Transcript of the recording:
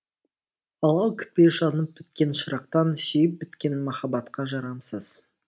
алау күтпе жанып біткен шырақтан сүйіп біткен махаббатқа жарамсыз